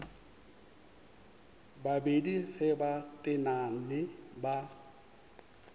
babedi ge ba tenane ba